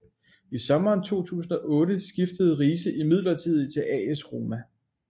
I sommeren 2008 skiftede Riise imidlertid til AS Roma